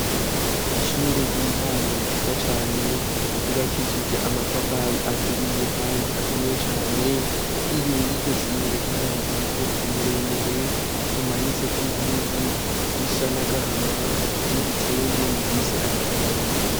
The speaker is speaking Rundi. Ishure ry'intango ryiza cane rubakishije amatafari aturiye, kandi akomeye cane imbire y'uryo shure hari umugozi muremure umanitse ko impuzu z'isha nagahama n'ibitenge bivise amabara menshi.